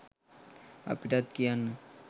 අපිටත් කියන්න